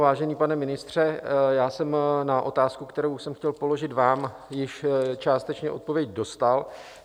Vážený pane ministře, já jsem na otázku, kterou jsem chtěl položit vám, již částečně odpověď dostal.